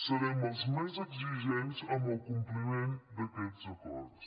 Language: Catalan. serem els més exigents amb el compliment d’aquests acords